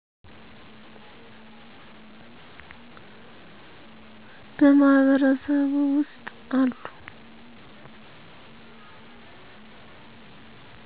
በማህበረሱ ውስጥ አሉ